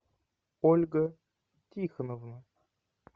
ольга тихоновна